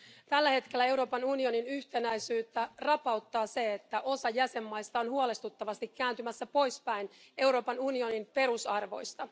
Tällä hetkellä Euroopan unionin yhtenäisyyttä rapauttaa se, että osa jäsenmaista on huolestuttavasti kääntymässä poispäin Euroopan unionin perusarvoista.